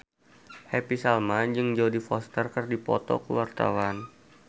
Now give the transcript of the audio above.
Happy Salma jeung Jodie Foster keur dipoto ku wartawan